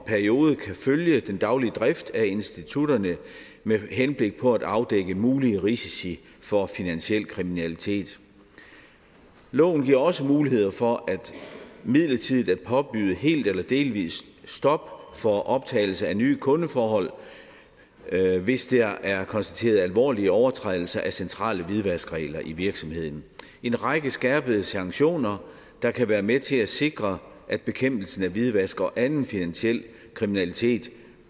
periode kan følge den daglige drift af institutterne med henblik på at afdække mulige risici for finansiel kriminalitet loven giver også muligheder for midlertidigt at påbyde helt eller delvis stop for optagelse af nye kundeforhold hvis der er konstateret alvorlig overtrædelse af centrale hvidvaskregler i virksomheden en række skærpede sanktioner kan kan være med til at sikre at bekæmpelsen af hvidvask og anden finansiel kriminalitet